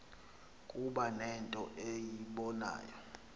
kuba nento eyibonayo